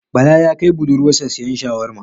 Bala ya kai budurwar sa siyan shawarma